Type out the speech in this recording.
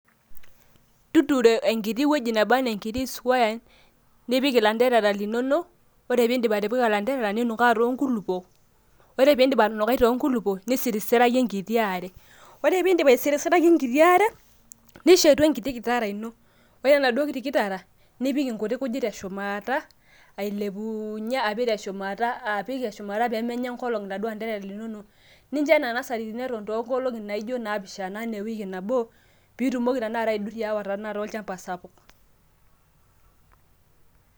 tuturo enkiti wueji neba anaa enkiti square, nipik ilanterara linonok, ore pee idip atipika ilanterara, ninukaa too nkulupuok, ore pee idip atunukai too nkulupuok, nisirisiraki enkiti are, ore pee idip aisirisiraki enkiti are. nishetu enkiti kitara ino. ore enaduoo kiti kitara, nipik inkujit te shumata ailepuunye ,apik inkujit te shumata, apik te shumata pee menya enkolong iladuoo anterera,,linonok nincho kula anterara linonok eton ewiki anaa inkolongi naapishana. pee itumoki aidurie aya olchampa sapuk.